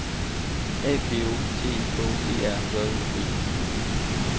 A P O T E K E R J O B